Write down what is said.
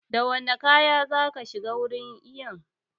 Da wane kaya zaka shiga wurin iyon?